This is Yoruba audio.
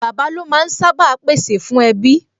Bàbá lo máa ń sá bàa pè sè fún ẹbí